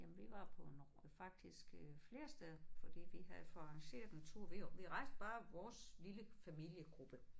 Jamen vi var på en faktisk øh flere steder fordi vi havde fået arrangeret en tur vi vi rejste bare vores lille familiegruppe